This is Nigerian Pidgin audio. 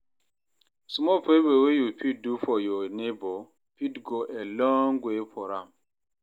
small favor wey yu fit do for yur neibor fit go a long way for am